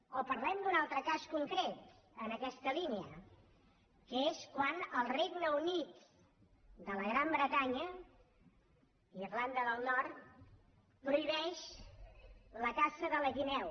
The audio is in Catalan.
o parlem d’un altre cas concret en aquesta línia que és quan al regne unit de la gran bretanya irlanda del nord prohibeix la caça de la guineu